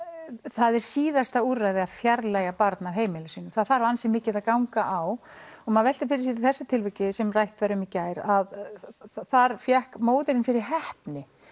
það er síðasta úrræði að fjarlægja barn af heimili sínu það þarf ansi mikið að ganga á og maður veltir fyrir sér í þessu tilviki sem rætt var um í gær að þar fékk móðirin fyrir heppni